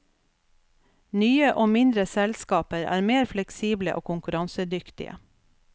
Nye og mindre selskaper er mer fleksible og konkurransedyktige.